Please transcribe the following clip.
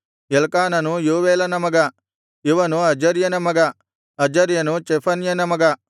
ಎಲ್ಕಾನನು ಯೋವೇಲನ ಮಗ ಇವನು ಅಜರ್ಯನ ಮಗ ಅಜರ್ಯನು ಚೆಫನ್ಯನ ಮಗ